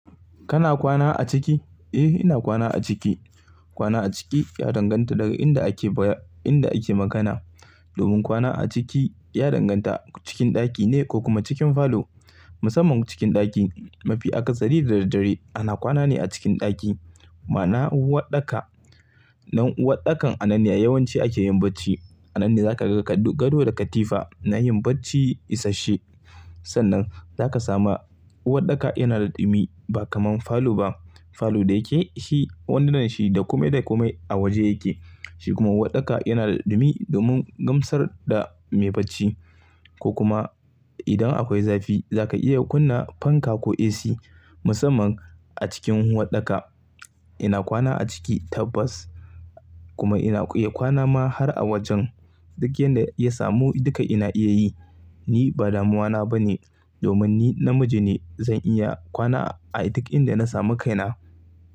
Kana kwana a ciki? Eh ina kwana a ciki. Kwana a ciki ya danganta daga inda ake baya, inda ake magana. Domin kwana a ciki ya danganta cikin ɗaki ne ko kuma cikin falo. Musamman cikin ɗaki mafi aka sari da dare. Ana kwana ne a cikin ɗaki. Ma na uwarɗaka. Nan uwarɗakan a nan ne yawanci ake yin bacci. A nan ne zaka ga gado da katifa na yin bacci isashe. Sannan zaka samu uwarɗaka yana da dumi ba kamar falo ba. Falo da yake shi, wannan shi da ƙume da ƙume a waje yake. Shi kuma uwarɗaka yana da dumi domin gamsar da mai bacci ko kuma idan akwai zafi za ka iya kunna fanka ko AC. Musamman a cikin uwarɗaka. Ina kwana a ciki tabbas kuma ina iya kwana ma har a wajen. Duk yadda ya samu duka ina iya yi. Ni ba damuwa na ba ne domin ni namiji ne zan iya kwana a duk inda na samu kaina.